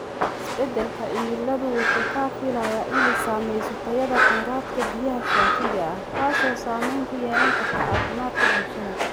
Isbeddelka cimiladu waxa la filayaa inay saamayso tayada kheyraadka biyaha saafiga ah, taasoo saamayn ku yeelan karta caafimaadka bulshada.